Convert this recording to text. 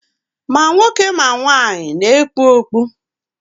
Ma nwoke ma nwanyị na-ekpu okpu.